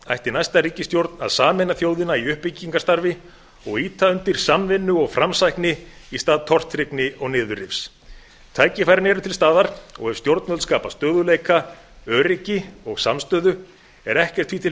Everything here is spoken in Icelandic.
ætti næsta ríkisstjórn að sameina þjóðina í uppbyggingarstarfi og ýta undir samvinnu og framsækni í stað tortryggni og niðurrifs tækifærin eru til staðar og ef stjórnvöld skapa stöðugleika öryggi og samstöðu er ekkert því til